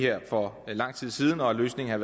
her for lang tid siden og at løsningen